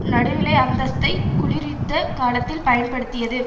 நடுநிலை அந்தஸ்தைப் குளிர் யுத்த காலத்தில் பயன்படுத்தியது